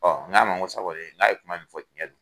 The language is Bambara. Ɔ n k'a ma ko sa kɔni n k'a ye kuma min fɔ ko cɛn don